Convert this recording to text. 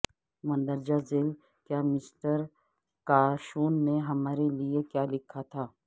مندرجہ بالا کیا مسٹر کاشون نے ہمارے لئے لکھا تھا